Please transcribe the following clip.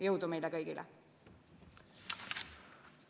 Jõudu meile kõigile!